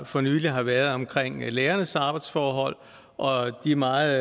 for nylig har været omkring lærernes arbejdsforhold og de meget